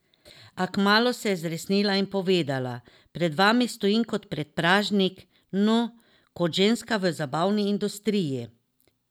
A kmalu se je zresnila in povedala: 'Pred vami stojim kot predpražnik, no, kot ženska v zabavni industriji.